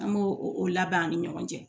An b'o o labɛn an ni ɲɔgɔn cɛ